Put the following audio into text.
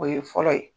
O ye fɔlɔ ye